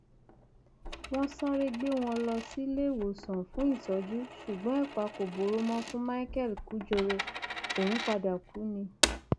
wọn sáré gbé wọn lọ síléèwọsán fún ìtọjú ṣùgbọn ẹpà kò bóró mọ fún micheal kujore òun padà kú ni